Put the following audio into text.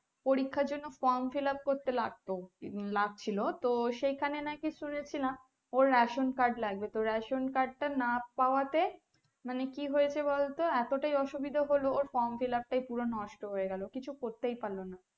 লাগছিলো তো সেখানে নাকি শুনেছিলাম ওর ration card লাগবে তো Ration card টা না পাওয়াতে মানে কি হয়েছে বলতো এতটাই অসুবিদা হলো ওর From Fill up টা পুরো নষ্ট হয়ে গেলো কিছু করতেই পারলো না